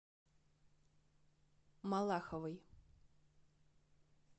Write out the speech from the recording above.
малаховой